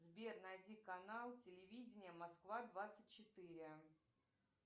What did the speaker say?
сбер найди канал телевидение москва двадцать четыре